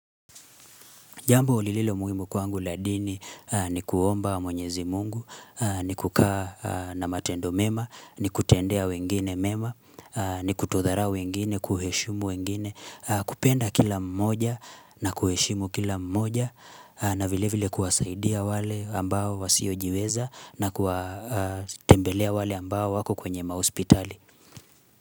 Jambo lililo muhimu kwangu la dini ni kuomba mwenyezi mungu, ni kukaa na matendo mema, ni kutendea wengine mema, ni kutodarau wengine, kuheshumu wengine, kupenda kila mmoja na kuheshimu kila mmoja na vile vile kuwasaidia wale ambao wasiojiweza na kuatembelea wale ambao wako kwenye mahospitali.